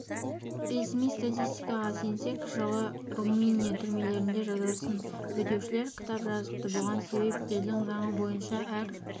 ресми статистикаға сенсек жылы румыния түрмелерінде жазасын өтеушілер кітап жазыпты бұған себеп елдің заңы бойынша әр